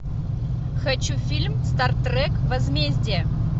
хочу фильм стартрек возмездие